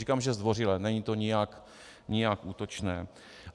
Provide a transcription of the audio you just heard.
Říkám, že zdvořile, není to nijak útočné.